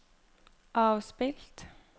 avspilt